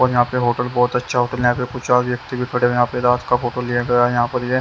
और यहां पे होटल बहोत अच्छा होटल यहां पे कुछ और व्यक्ति भी खड़े हैं रात का फोटो लिया गया है यहां पर ये--